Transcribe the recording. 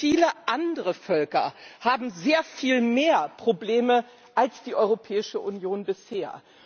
Viele andere Völker haben sehr viel mehr Probleme als die Europäische Union bisher.